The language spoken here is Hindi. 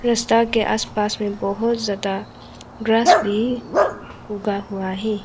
रास्ता के आस पास में बहुत ज्यादा ग्रास भी उगा हुआ है।